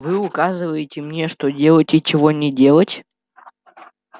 вы указываете мне что делать и чего не делать